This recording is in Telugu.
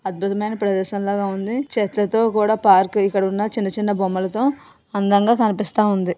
అద్భుతమైన ప్రదేశం లాగా ఉంది . చెట్లతో కూడా పార్క్ ఇక్కడ ఉన్న చిన్న చిన్న బొమ్మలతో అందంగా కనిపిస్తా ఉంది.